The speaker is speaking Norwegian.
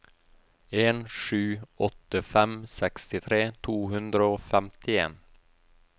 en sju åtte fem sekstitre to hundre og femtien